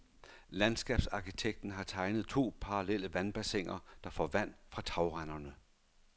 Landskabsarkitekten har tegnet to parallelle vandbassiner, der får vand fra tagrenderne.